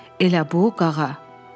Elə bu, Qağa?